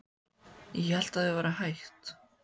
Ég hélt að þau væru hætt.